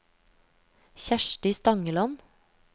Kjersti Stangeland